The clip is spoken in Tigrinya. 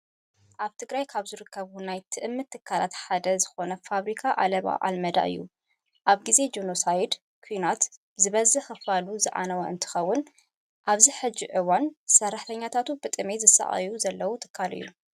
ኣብ ትግራይ ካብ ዝርከቡ ናይ ትእምት ትካላት ሓደ ዝኮነ ፋብሪካ ዓለባ ኣልመዳ እዩ። ኣብ ግዜ ጆኖሳይድ ኩናት ዝበዝሕ ክፋሉ ዝዓነወ እንትከውን፣ ኣብዚ ሕዚ እዋን ሰራሕተኛታቱ ብጥምየት ዝሳቀዩ ዘለው ትካል እዩ።